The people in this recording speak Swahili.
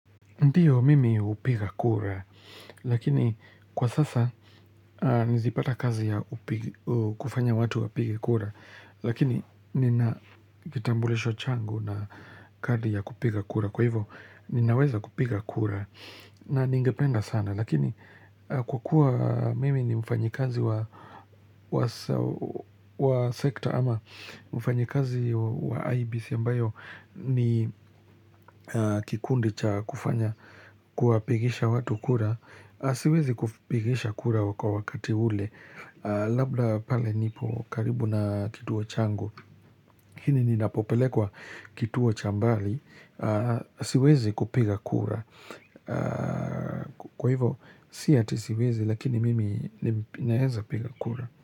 Ndio mimi hupiga kura lakini kwa sasa nizipata kazi ya kufanya watu wapige kura lakini nina kitambulisho changu na kadi ya kupiga kura kwa hivyo ninaweza kupiga kura na ningependa sana lakini kwa kuwa mimi ni mfanyi kazi wa sector ama mfanyi kazi wa IEBC ambayo ni kikundi cha kufanya kuwapigisha watu kura siwezi kupigisha kura kwa wakati ule labda pale nipo karibu na kituo changu ili ninapopelekwa kituo cha mbali siwezi kupiga kura kwa hivyo si ati siwezi lakini mimi naeza piga kura.